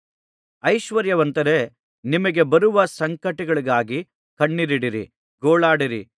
ಐಶ್ವರ್ಯವಂತರೇ ನಿಮಗೆ ಬರುವ ಸಂಕಟಗಳಿಗಾಗಿ ಕಣ್ಣೀರಿಡಿರಿ ಗೋಳಾಡಿರಿ